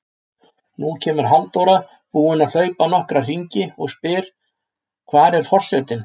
Nú kemur Halldóra, búin að hlaupa nokkra hringi, og spyr: Hvar er forsetinn?